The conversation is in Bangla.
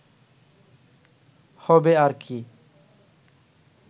হবে আর কি